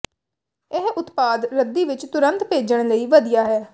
ਇਹ ਉਤਪਾਦ ਰੱਦੀ ਵਿੱਚ ਤੁਰੰਤ ਭੇਜਣ ਲਈ ਵਧੀਆ ਹੈ